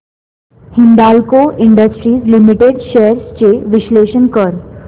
Hindalco industries limited shares चे विश्लेषण कर